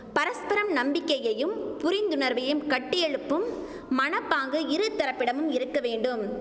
பரஸ்பரம் நம்பிக்கையையும் புரிந்துணர்வையும் கட்டியெழுப்பும் மனப்பாங்கு இரு தரப்பிடமும் இருக்கவேண்டும்